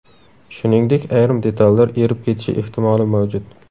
Shuningdek, ayrim detallar erib ketishi ehtimoli mavjud.